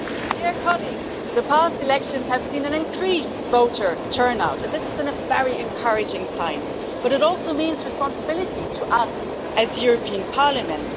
Dear colleagues, the past elections have seen an increased voter turnout, and this is a very encouraging sign, but it also means responsibility to us as the European Parliament.